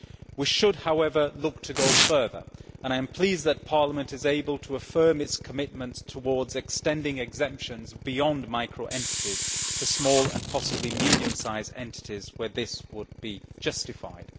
We should however look to go further, and I am pleased that Parliament is able to affirm its commitments towards extending exemptions beyond micro entities to small and possibly medium sized entities where this would be justified.